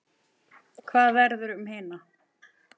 En hvað verður um hina?